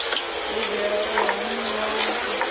lugela u hamiwa na u